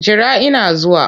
Jira ina zuwa!